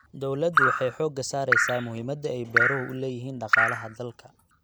Dawladdu waxay xooga saaraysaa muhiimada ay beeruhu u leeyihiin dhaqaalaha dalka.